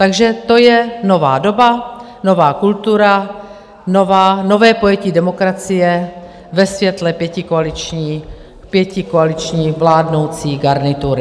Takže to je nová doba, nová kultura, nové pojetí demokracie ve světle pětikoaliční vládnoucí garnitury.